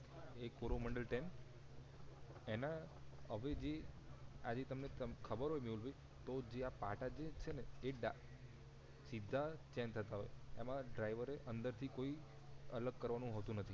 એક Coromandel train એના હવે જે તમને ખબર હોય મેહુલ ભાઈ જે આ પાટા જે છે એ ડા સીધા ચેન્જ થતા હોય એમાં ડ્રાઈવરે અંદર થી કોઈ અલગ કરવાનું હોતું નથી